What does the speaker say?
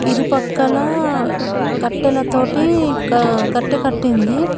ఇరుపక్కల కట్టెల తోటి కట్ట కట్టింది.